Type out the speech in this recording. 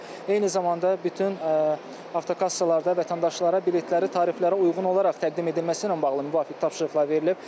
Eyni zamanda bütün avtokassalarda vətəndaşlara biletləri tariflərə uyğun olaraq təqdim edilməsi ilə bağlı müvafiq tapşırıqlar verilib.